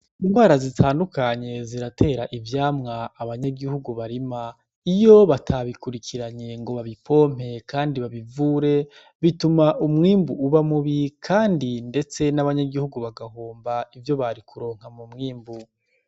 Indwara zitandukanye ziratera ivyamwa abanyagihugu barima. Iyo batabikurikiranye ngo babipompe kandi babivure bituma umwimbu uba mubi kandi ndetse n'abanyagihugu bagahomba ivyo bari kuronka mu mwimbu.